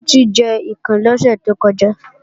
Títí ń jẹ ikàn lọ́sẹ̀ tó kọjá